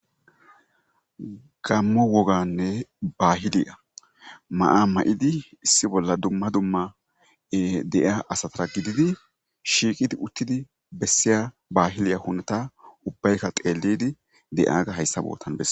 Gamo wogane bahiliya ma'a maidi issi bola dumma dumma deiya asata gididi shiqidi utidi besiya bahile huneta ubayika xelidi deiyaga hayisa botan bese.